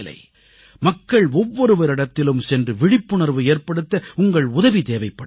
மக்கள் ஒவ்வொருவரிடத்திலும் சென்று விழிப்புணர்வு ஏற்படுத்த உங்கள் உதவி தேவைப்படுகிறது